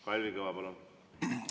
Kalvi Kõva, palun!